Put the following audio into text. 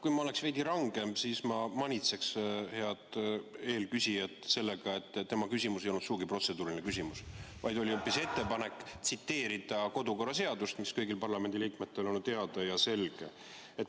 Kui ma oleksin veidi rangem, siis ma manitseks head eelküsijat sellega, et tema küsimus ei olnud sugugi protseduuriline küsimus, vaid oli hoopis ettepanek tsiteerida kodukorraseadust, mis on kõigile parlamendiliikmetele teada ja selge.